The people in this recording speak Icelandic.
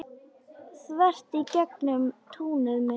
Þvert í gegnum túnið mitt.